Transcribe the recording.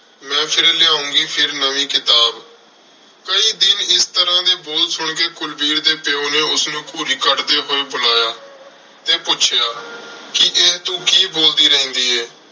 ਮੈਂ ਫਿਰ ਲਿਆਉਂਗੀ ਫਿਰ ਨਵੀਂ ਕਿਤਾਬ। ਕਈ ਦਿਨ ਇਸ ਤਰ੍ਹਾਂ ਦੇ ਬੋਲ ਸੁਣ ਕੇ ਕੁਲਵੀਰ ਦੇ ਪਿਉ ਨੇ ਉਸਨੂੰ ਘੂਰੀ ਕੱਢਦੇ ਹੋਏ ਬੁਲਾਇਆ ਤੇ ਪੁੱਛਿਆ ਕਿ ਇਹ ਤੂੰ ਕੀ ਬੋਲਦੀ ਰਹਿੰਦੀ ਏਂ?